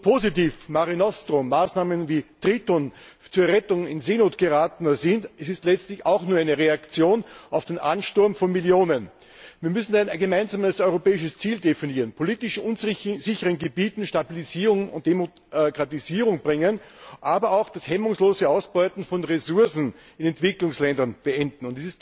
Und so positiv Mare Nostrum Maßnahmen wie Triton zur Rettung in Seenot Geratener sind Sie sind letztlich auch nur eine Reaktion auf den Ansturm von Millionen. Wir müssen ein gemeinsames europäisches Ziel definieren, politisch unsicheren Gebieten Stabilisierung und Demokratisierung bringen, aber auch das hemmungslose Ausbeuten von Ressourcen in Entwicklungsländern beenden.